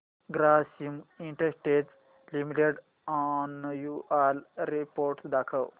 Grasim industries limited annual report दाखव